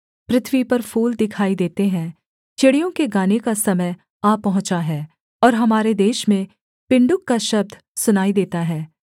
पृथ्वी पर फूल दिखाई देते हैं चिड़ियों के गाने का समय आ पहुँचा है और हमारे देश में पिण्डुक का शब्द सुनाई देता है